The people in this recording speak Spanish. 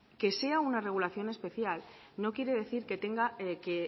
que sea una regulación especial no quiere decir que tenga que